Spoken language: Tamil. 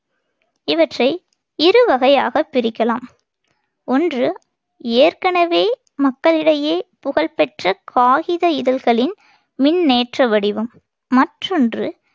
இவற்றை இரு வகையாகப் பிரிக்கலாம். ஒன்று ஏற்கெனவே மக்களிடையே புகழ்பெற்றக் காகித இதழ்களின் மின்னேற்ற வடிவம். மற்றொன்று